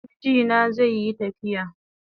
Mijina zaiyi tafiya